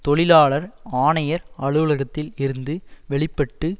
தொழிலாளர் ஆணையர் அலுவலகத்தில் இருந்து வெளி பட்டு